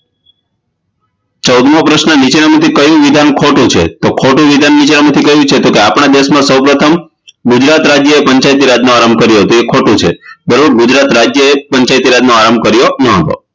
ચૌદમો પ્રશ્ન નીચેના માંથી કયું વિધાન ખોટું છે તો ખોટું વિધાન નીચેના માંથી કયું છે તો આપના દેશમાં સૌ પ્રથમ ગુજરાત રાજ્યએ પંચાયતી રાજનો આરંભ કર્યો હતો એ ખોટું છે બરાબર ગુજરાત રાજ્યએ પંચાયતી રાજનો આરંભ કયો ન હતો